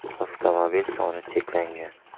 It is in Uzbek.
Avtomobillar soni cheklangan.